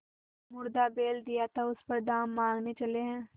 मुर्दा बैल दिया था उस पर दाम माँगने चले हैं